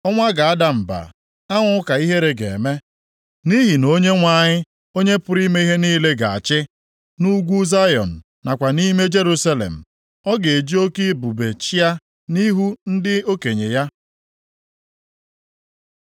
Ọnwa ga-ada mba, anwụ ka ihere ga-eme; nʼihi na Onyenwe anyị, Onye pụrụ ime ihe niile, ga-achị nʼugwu Zayọn nakwa nʼime Jerusalem, ọ ga-eji oke ebube chịa nʼihu ndị okenye ya.